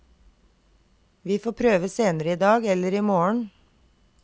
Vi får prøve senere i dag eller i morgen.